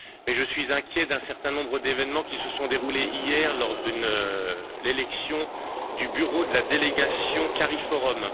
Je suis inquiet d'un certain nombre d'événements qui se sont déroulés hier lors de l'élection du bureau de la délégation Cariforum.